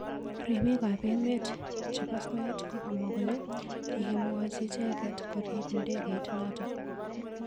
Ribik ab emet chebo soet kokamwa kole kikimwochimicheket korib ndegeit notok.